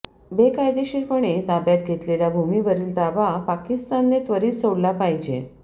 बेकायदेशीरपणे ताब्यात घेतलेल्या भूमीवरील ताबा पाकिस्तानने त्वरित सोडला पाहिजे